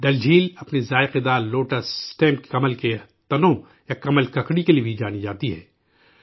ڈل جھیل، اپنے ذائقہ دار لوٹس اسٹیمس کمل کے تنوں یا کمل ککڑی کے لیے بھی جانی جاتی ہے